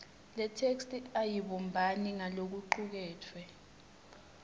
yetheksthi ayibumbani nalokucuketfwe